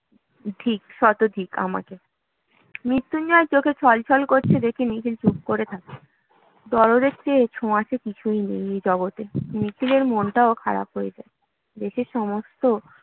ধিক, শত ধিক আমাকে মৃত্যুঞ্জয়ের চোখ এ ছলছল করছে দেখে নিখিল চুপ করে থাকে দরদের চেয়ে ছোঁয়াচে কিছুই নেই এ জগতে নিখিলের মনটাও খারাপ হয়ে যায় দেশের সমস্ত